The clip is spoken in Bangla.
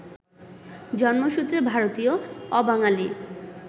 জন্মসূত্রে ভারতীয়, অবাঙালি